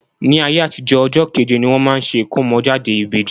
Ní ayé àtijo, ọjọ́ kẹ́je ni wọ́n máa ṣe ìkómọ́jáde ìbèjì.